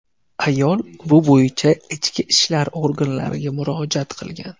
Ayol bu bo‘yicha Ichki ishlar organlariga murojaat qilgan.